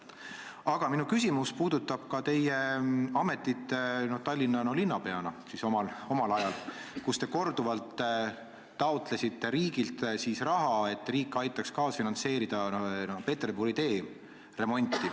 Aga minu küsimus puudutab teie ametit Tallinna linnapeana, kui te omal ajal taotlesite korduvalt raha, et riik aitaks kaasfinantseerida Peterburi tee remonti.